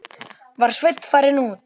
Var Sveinn farinn út?